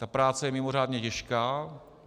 Ta práce je mimořádně těžká.